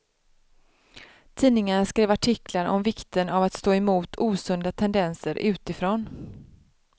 Tidningarna skrev artiklar om vikten av att stå emot osunda tendenser utifrån.